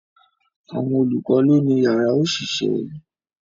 Àwọn olùkọ́ lọ́ ni yàrá òṣìṣẹ́